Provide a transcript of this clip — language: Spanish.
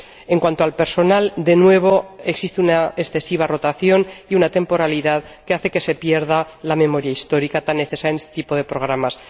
En cuanto al personal, de nuevo existe una excesiva rotación y temporalidad, que hace que se pierda la memoria histórica, tan necesaria en este tipo de programas.